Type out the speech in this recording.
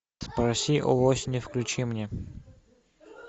спроси у осени включи мне